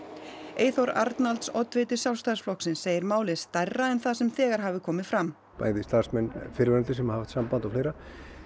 Eyþór Arnalds oddviti Sjálfstæðisflokksins segir málið stærra en það sem þegar hafi komið fram bæði starfsmenn fyrrverandi sem hafa haft samband og fleira